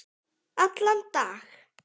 Allan dag?